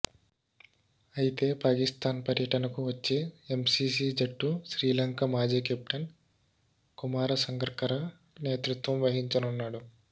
అయితే పాకిస్తాన్ పర్యటనకు వచ్చే ఎంసీసీ జట్టు శ్రీలంక మాజీ కెప్టెన్ కుమార సంగక్కరా నేతృత్వం వహించనున్నాడు